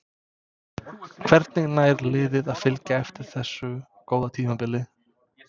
Hvernig nær liðið að fylgja eftir þessu góða tímabili?